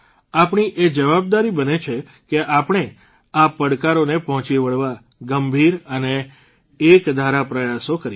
આપણી એ જવાબદારી બને છે કે આપણે આ પડકારોન પહોંચી વળવા ગંભીર અને એકધારા પ્રયાસો કરીએ